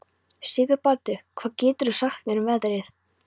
Sigurbaldur, hvað geturðu sagt mér um veðrið?